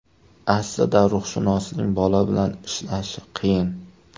Aslida ruhshunosning bola bilan ishlashi qiyin.